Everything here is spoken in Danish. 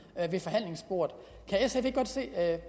ved forhandlingsbordet kan sf ikke godt se